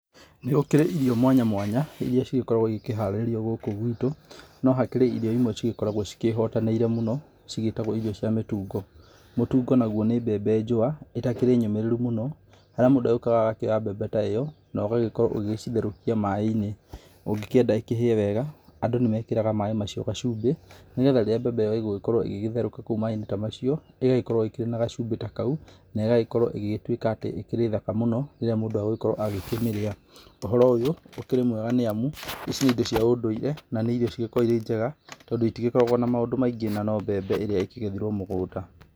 Nĩ gũkĩrĩ irio mwanya mwanya, irĩa cigĩkoragũo igĩkĩharĩrio gũkũ gwitũ. No hakĩrĩ irio imwe irĩa igĩkoragũo ciĩhotanĩire mũno, cigĩtagwo irio cia mĩtungo. Mũtungo naguo nĩ mbembe njũa ĩtakĩrĩ nyũmĩrĩru mũno, harĩa mũndũ agĩukaga agakĩoyaga mbembe ta ĩyo, ũgagĩkorũo ũgĩcigĩtherũkia maaiinĩ ũngĩkĩenda ĩkĩhĩe wega, andũ nĩmekĩraga maaĩ macio gacumbĩ, nĩgetha rĩrĩa mbembe ĩyo ĩgũgĩkorũo ĩgĩgĩtherũka kũu maaĩinĩ ta macio ĩgagĩkorũo ĩkĩrĩ na gacumbĩ ta kaũ na ĩgagĩkorũo ĩgĩtuĩka atĩ ĩkĩrĩ thaka mũno rĩrĩa mũndũ agũgĩkorũo agĩkĩmĩrĩa. Ũhoro ũyũ, ũkĩrĩ mwega nĩ amu, ici nĩ indo cia ũndũire na nĩ irio cigĩkoragũo irĩ njega tondũ itigĩkoragũo na maũndũ maingĩ na no mbembe ĩrĩa ĩkĩgethirũo mũgũnda.